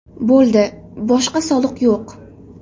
Bo‘ldi, boshqa soliq yo‘q.